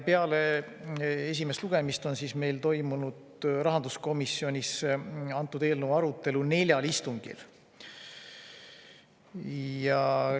Peale esimest lugemist on meil rahanduskomisjonis toimunud antud eelnõu arutelu neljal istungil.